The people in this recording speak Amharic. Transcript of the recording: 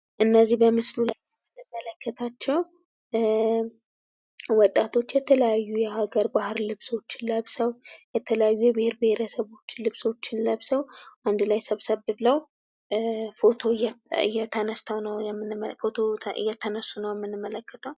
እነዚህ በምስሉ ላይ የምንመለከታቸው ወጣቶች የተለያዩ የሀገር ባህል ልብስ ለብሰው ፤የተለያዩ የብሔር ብሔረሰቦች ልብሶችን ለብሰው አንድ ላይ ሰብሰብ ብለው ፎቶ እየተነሱ እንመለከታለን።